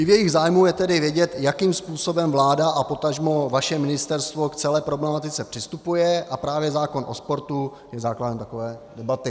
I v jejich zájmu je tedy vědět, jakým způsobem vláda a potažmo vaše ministerstvo k celé problematice přistupuje, a právě zákon o sportu je základem takové debaty.